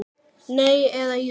Nei. eða jú!